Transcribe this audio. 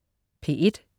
P1: